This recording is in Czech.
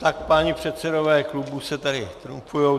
Tak páni předsedové klubů se tady trumfují.